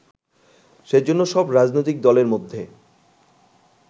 সেজন্য সব রাজনৈতিক দলের মধ্যে